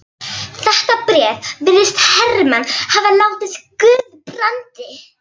Þetta bréf virðist Hermann hafa látið Guðbrandi